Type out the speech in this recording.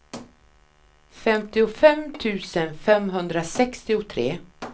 femtiofem tusen femhundrasextiotre